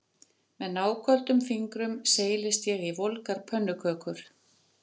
Með náköldum fingrum seilist ég í volgar pönnukökur